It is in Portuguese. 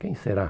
Quem será?